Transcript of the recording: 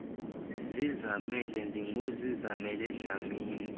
zizamele ndinguzizamele dlamini